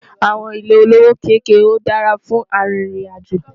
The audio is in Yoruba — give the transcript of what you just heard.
àwọn ilé olówó kéké dára fún àrin ìrìn àjò